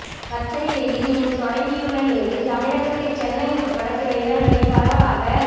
கத்தரி வெயில் இன்று தொடங்கியுள்ள நிலையில் தமிழகத்தில் சென்னை உட்பட சில இடங்களில் பரவலாக